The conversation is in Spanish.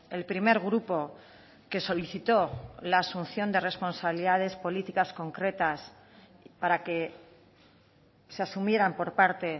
el primer grupo que solicitó la asunción de responsabilidades políticas concretas para que se asumieran por parte